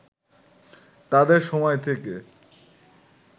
তাদের সময় থেকে